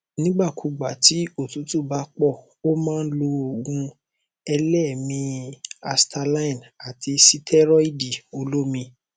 nígbà kúùgbà tí òtútù bá pọ ó máa lo òògùn eléèémí i asthaline àti sítẹrọìdì olómi